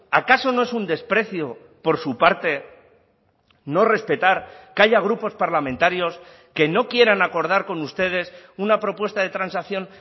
acaso no es un desprecio por su parte no respetar que haya grupos parlamentarios que no quieran acordar con ustedes una propuesta de transacción